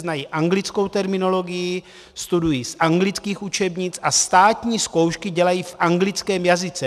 Znají anglickou terminologii, studují z anglických učebnic a státní zkoušky dělají v anglickém jazyce.